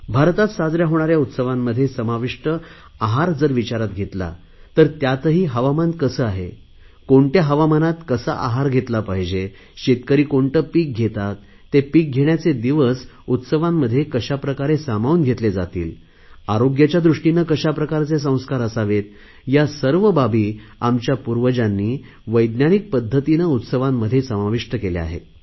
भारतात साजऱ्या होणाऱ्या उत्सवांमध्ये समाविष्ट आहार विचारात घेतला तर त्यातही हवामान कसे आहे कोणत्या हवामानात कसा आहार घेतला पाहिजे शेतकरी कोणते पिक घेतात ते पिक घेण्याचे दिवस उत्सवांमध्ये कशाप्रकारे सामावून घेतले जातील आरोग्याच्या दृष्टीने कशाप्रकारचे संस्कार असावेत या सर्व बाबी आमच्या पूर्वजांनी वैज्ञानिक पध्दतीने उत्सवांमध्ये समाविष्ट केल्या आहेत